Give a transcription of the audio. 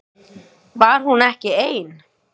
Var hún ekki ein?